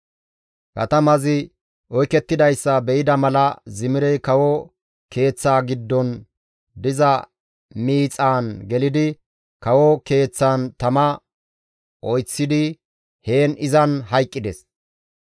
Katamazi oykettidayssa be7ida mala Zimirey kawo keeththaa giddon diza miixaan gelidi kawo keeththan tama oyththidi heen izan hayqqides.